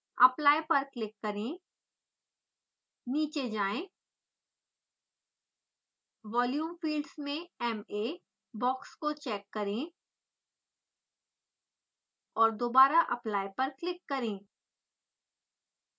apply पर click करें नीचे जाएँ volume fields में ma बॉक्स को चेक करें और दोबारा apply पर क्लिक करें